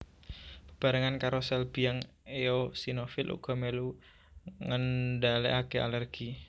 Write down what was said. Bebarengan karo sel biang eosinofil uga mèlu ngendhalèkaké alèrgi